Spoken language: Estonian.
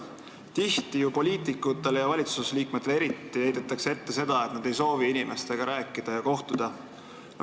Tihti heidetakse ju poliitikutele ja eriti valitsusliikmetele ette, et nad ei soovi inimestega rääkida ja nendega kohtuda.